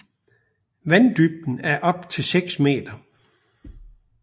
Vanddybden er på op til seks meter